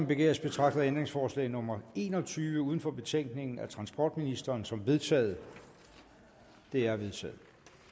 begæres betragter jeg ændringsforslag nummer en og tyve uden for betænkningen af transportministeren som vedtaget det er vedtaget